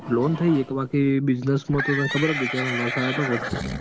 Loan થઇ એક બાકી business મા તો કઈ ખબર ને ને બિચારો ને લોસ આયો તો વચ્ચે.